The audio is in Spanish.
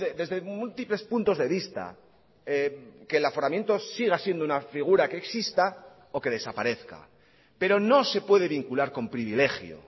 desde múltiples puntos de vista que el aforamiento siga siendo una figura que exista o que desaparezca pero no se puede vincular con privilegio